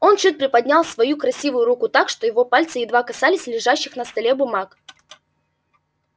он чуть приподнял свою красивую руку так что его пальцы едва касались лежащих на столе бумаг